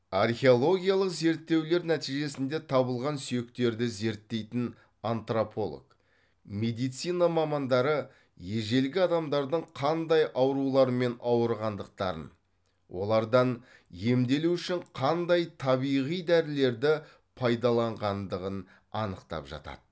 археологиялық зерттеулер нәтижесінде табылған сүйектерді зерттейтін антрополог медицина мамандары ежелгі адамдардың қандай аурулармен ауырғандықтарын олардан емделу үшін қандай табиғи дәрілерді пайдаланғандығын анықтап жатады